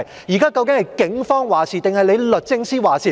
現時究竟是警方還是律政司作主？